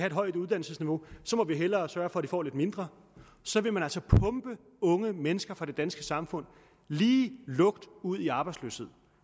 et højt uddannelsesniveau må vi hellere sørge for at de får lidt mindre og så vil man altså pumpe unge mennesker fra det danske samfund lige lukt ud i arbejdsløshed